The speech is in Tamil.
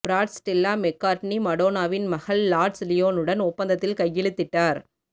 பிராட் ஸ்டெல்லா மெக்கார்ட்னி மடோனாவின் மகள் லார்ட்ஸ் லியோனுடன் ஒப்பந்தத்தில் கையெழுத்திட்டார்